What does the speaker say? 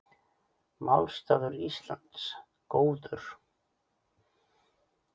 Málstaður Íslands góður